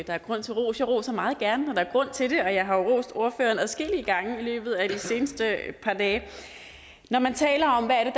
der er grund til ros jeg roser meget gerne når der er grund til det og jeg har rost ordføreren adskillige gange i løbet af de seneste par dage når man taler om hvad